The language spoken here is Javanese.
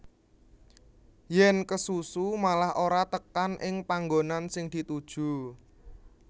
Yèn kesusu malah ora tekan ing panggonan sing dituju